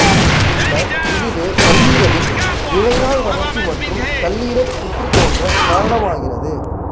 பின்னர் இதுவே கல்லீரலில் இழைநார் வளர்ச்சி மற்றும் கல்லீரல் புற்று தோன்றக் காரணமாகிறது